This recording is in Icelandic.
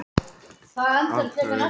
Af hverju réðust þið á stelpurnar